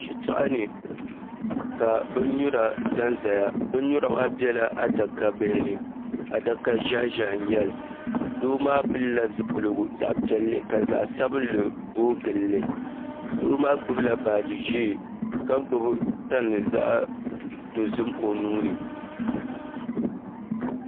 Shitoɣu ni ka bin nyura ʒɛnʒɛya bin nyura maa biɛla adaka bihi ni adaka ƶiɛhi ʒiɛhi nnyɛli doo maa pilila zipiligu zaɣ piɛlli ka zaɣ sabinli booi gilli doo maa gbubila baaji ʒiɛ ka gbubi tani zaɣ dozim o nuuni